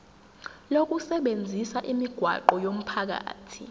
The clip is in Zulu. lokusebenzisa imigwaqo yomphakathi